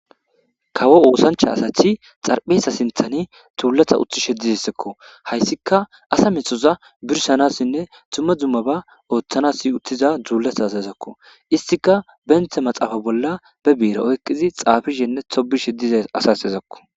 Kawo oosancha asathi xarpheesa sinthani tuulatha uthi shedizessekko hayssika asa mithoza birsanassinne tumma dzummaba ooththanas uttiza dzuulatha asazakko istika benthe maxaafa bolla be biira oykqizi xaafishenne tobishe diza asasezakko.